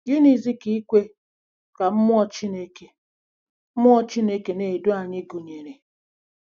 Gịnịzi ka ikwe ka mmụọ Chineke mmụọ Chineke na-edu anyị gụnyere?